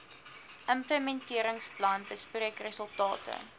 implementeringsplan bespreek resultate